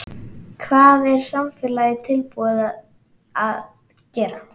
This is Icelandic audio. Hvað er samfélagið tilbúið til að gera?